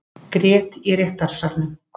Grét í réttarsalnum